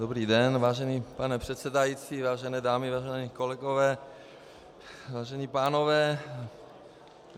Dobrý den, vážený pane předsedající, vážené dámy, vážení kolegové, vážení pánové.